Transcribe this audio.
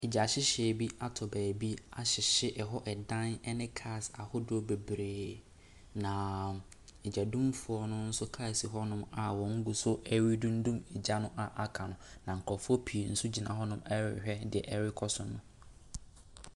Gyahyehyɛeɛ bi atɔ baabi ahyehye hɔ adan ne cars ahodoɔ bebree, na odumgyafoɔ no nso kaa si hɔ a wɔgu so redundum gya no a aka no, na nkurɔfoɔ pii nso gyina hɔ rehwɛ deɛ ɛrekɔ so no.